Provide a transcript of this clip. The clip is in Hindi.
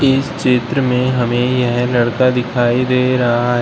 इस चित्र में हमें यह लड़का दिखाई दे रहा है।